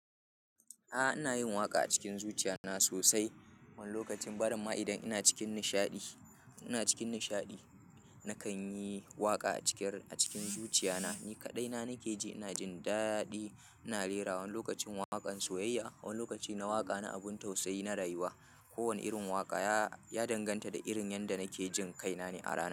A'a, ina yin waƙa a cikin zuciya na sosai. Wani lokacin, ba rin ma idan ina cikin nishaɗi, ina cikin nishaɗi nakan yi waƙa a ciki, a cikin zuciya na. Ni kaɗai na nake ji ina jin daɗi ina rerawa. Wani lokacin waƙan soyayya, wani lokaci na waƙa na abun tausayi na rayuwa. Kowane irin waƙa ya, ya danganta da irin yanda nake jin kai nane a ranan.